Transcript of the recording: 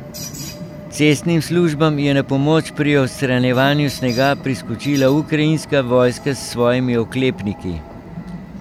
Cestnim službam je na pomoč pri odstranjevanju snega priskočila ukrajinska vojska s svojimi oklepniki.